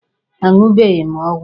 A ṅụbeghị m ọgwụ.